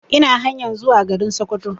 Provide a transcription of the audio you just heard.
Ina hanyan zuwa garin Sokoto